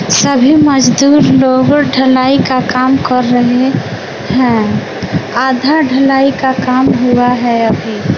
सभी मजदूर लोगों ढलाई का काम कर रहे हैं आधा ढलाई का काम हुआ है अभी।